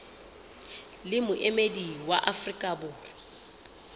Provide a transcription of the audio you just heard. le moemedi wa afrika borwa